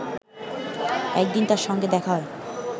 একদিন তার সঙ্গে দেখা হয়